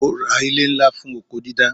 Ó ra ilè ńlá fún oko dídá.